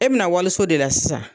E bɛ na waliso de la sisan,